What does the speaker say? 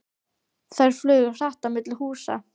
Þær flugu hratt á milli húsa.